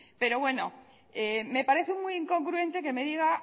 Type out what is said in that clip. pero bueno me parece muy incongruente que me diga